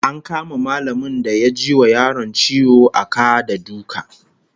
An kama mallamin da ya ji wa yaron ciwo a ka da duka